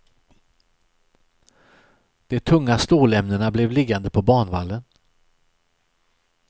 De tunga stålämnena blev liggande på banvallen.